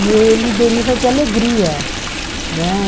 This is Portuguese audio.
E ele deriva de alegria, né?